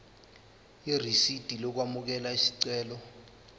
irisidi lokwamukela isicelo